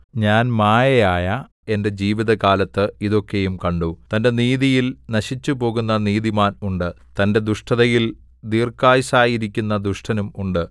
ഞാൻ മായയായ എന്റെ ജീവിതകാലത്ത് ഇതൊക്കെയും കണ്ടു തന്റെ നീതിയിൽ നശിച്ചുപോകുന്ന നീതിമാൻ ഉണ്ട് തന്റെ ദുഷ്ടതയിൽ ദീർഘായുസ്സായിരിക്കുന്ന ദുഷ്ടനും ഉണ്ട്